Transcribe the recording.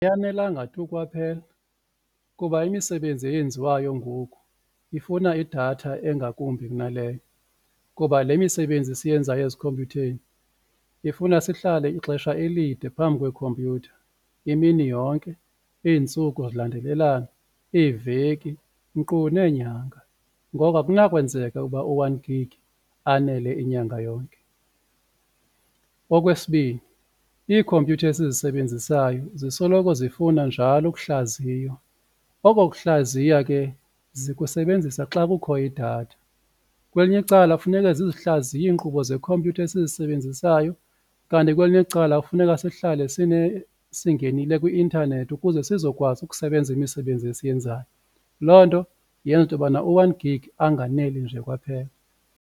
Ayanelanga tu kwaphela kuba imisebenzi eyenziwayo ngoku ifuna idatha engakumbi kunaleyo, kuba le misebenzi siyenzayo ezikhompyutheni ifuna sihlale ixesha elide phambi kwekhompyutha imini yonke, iintsuku zilandelelana, iiveki nkqu neenyanga ngoko akunakwenzeka uba u-one gig anele inyanga yonke. Okwesibini, iikhompyutha esizisebenzisayo zisoloko zifuna njalo ukuhlaziywa oko kuhlaziya ke zikusebenzisa xa kukho idatha, kwelinye icala funeka zizihlaziye iinkqubo zekhompyutha esizisebenzisayo kanti kwelinye icala kufuneka sihlale singenile kwi-intanethi ukuze sizokwazi ukusebenza imisebenzi esiyenzayo. Loo nto yenza into yobana u one-gig anganeli nje kwaphela.